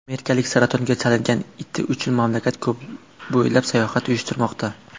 Amerikalik saratonga chalingan iti uchun mamlakat bo‘ylab sayohat uyushtirmoqda.